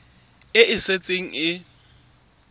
e ne e setse e